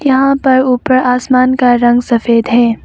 यहां पर ऊपर आसमान का रंग सफेद है।